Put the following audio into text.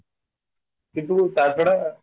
କିନ୍ତୁ ତା ଛଡା